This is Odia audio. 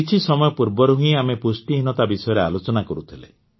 କିଛି ସମୟ ପୂର୍ବରୁ ହିଁ ଆମେ ପୁଷ୍ଟିହୀନତା ବିଷୟରେ ଆଲୋଚନା କରୁଥିଲେ